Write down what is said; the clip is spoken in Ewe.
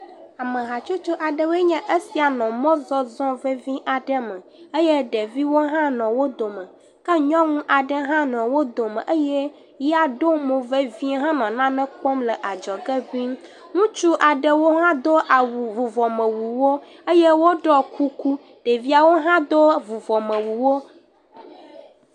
Amehatsotso aɖewoe nye esia nɔ mɔzɔzɔ vevi aɖe me eye ɖeviwo hã nɔ wo dome. Ke nyɔnu aɖe hã nɔ wo dome eye ya ɖo mo vevie henɔ nane kpɔm le adzɔge ŋɛ̃. Ŋutsu aɖewo do awu, vuvɔmewuwo eye woɖɔ kuku ɖeviawo hã do vuɔmewuwo.